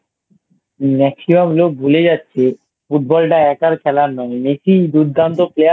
Maximum লোক ভুলে যাচ্ছে Football টা একার খেলার নয় Messi দুর্দান্ত Player